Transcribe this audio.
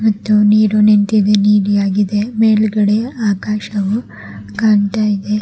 ಮತ್ತು ನೀರು ನಿಂತಿದೆ ನೀಲಿಯಾಗಿದೆ ಮೇಲ್ಗಡೆ ಆಕಾಶವು ಕಾಣ್ತಾ ಇದೆ.